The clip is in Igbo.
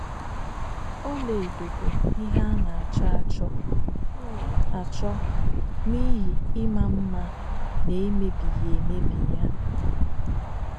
Ọlaedo bụ ihe a na-achọ achọ achọ n’ihi ịma mma na emebighi emebi ya